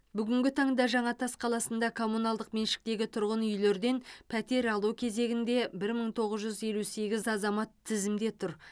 бүгінгі таңда жаңатас қаласында коммуналдық меншіктегі тұрғын үйлерден пәтер алу кезегінде бір мың тоғыз жүз елу сегіз азамат тізімде тұр